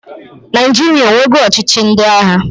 Naịjịrịa onwenugo ọchịchị ndị agha?